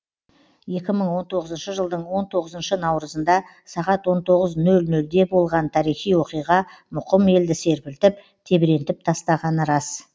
екі мың он тоғызыншы жылдың он тоғызыншы наурызында сағат он тоғыз ноль нольде болған тарихи оқиға мұқым елді серпілтіп тебірентіп тастағаны рас